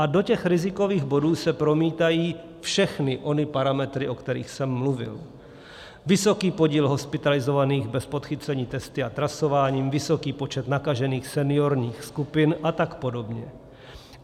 A do těch rizikových bodů se promítají všechny ony parametry, o kterých jsem mluvil: vysoký podíl hospitalizovaných bez podchycení testy a trasováním, vysoký počet nakažených seniorních skupin a tak podobně.